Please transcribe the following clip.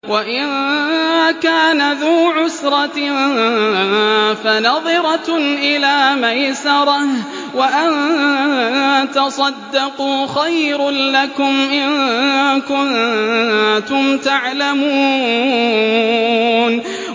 وَإِن كَانَ ذُو عُسْرَةٍ فَنَظِرَةٌ إِلَىٰ مَيْسَرَةٍ ۚ وَأَن تَصَدَّقُوا خَيْرٌ لَّكُمْ ۖ إِن كُنتُمْ تَعْلَمُونَ